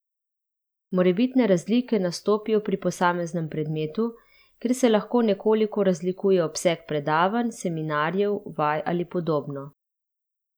Morebitne razlike nastopijo pri posameznem predmetu, kjer se lahko nekoliko razlikuje obseg predavanj, seminarjev, vaj ali podobno.